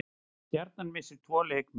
Stjarnan missir tvo leikmenn